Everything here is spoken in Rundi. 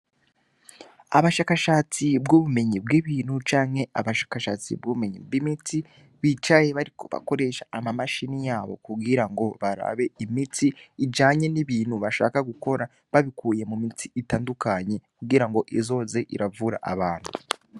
Abashakashatsi bwo kumenya ibintu bitandukanye canke nabashakashatsi bukumenya imiti bicaye bariko bakoresha amamashine yabo mukugirango barabe imiti ijanye nibintu bashaka gukora babikuye mumiti itandukanye kugirango izoze iravura abantu